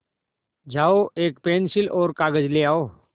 जाओ एक पेन्सिल और कागज़ ले आओ